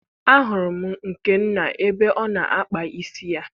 Ahụrụ m Nkenna ebe ọ na-akpa isi ya.